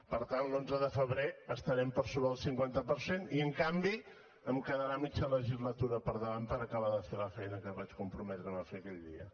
per tant l’onze de febrer estarem per sobre del cinquanta per cent i en canvi em quedarà mitja legislatura per davant per acabar de fer la feina que vaig comprometre’m a fer aquell dia